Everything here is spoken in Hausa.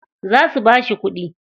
Za su bashi kuɗi.